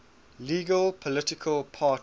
legal political party